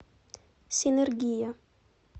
синергия